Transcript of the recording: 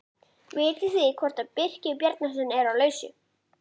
Daði barði þrjú þung högg með hnúanum á tjargaða hurðina.